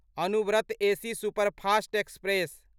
Anuvrat AC superfast express